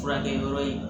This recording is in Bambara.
Furakɛ yɔrɔ ye